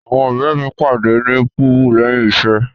Awọn ọrẹ mi pade ni Pubu lẹhin iṣẹ.